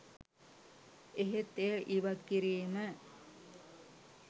එහෙත් එය ඉවත් කිරීම